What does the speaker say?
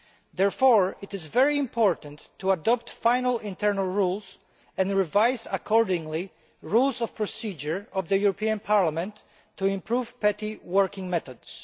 Therefore, it is very important to adopt final internal rules and to revise accordingly the Rules of Procedure of the European Parliament to improve PETI working methods.